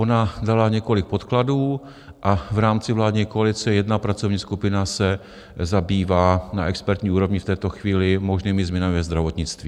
Ona dala několik podkladů a v rámci vládní koalice jedna pracovní skupina se zabývá na expertní úrovni v této chvíli možnými změnami ve zdravotnictví.